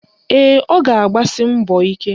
Ee, ọ ga-abasi mbọ ike